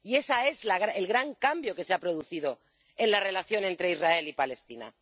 Y ese es el gran cambio que se ha producido en la relación entre Israel y Palestina.